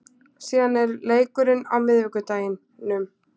Síðan er leikurinn á miðvikudeginum.